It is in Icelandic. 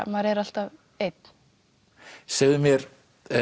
maður er alltaf einn segðu mér